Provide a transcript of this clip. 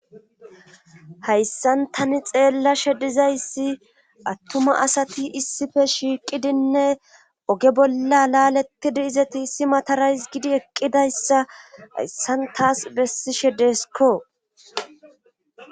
hayssan tani xeella shedizayssi attuma asati issife shiiqidinne oge bolla laaletidi izeti issi matarays gidi eqqidayssa hayssan taas bessi shedeskko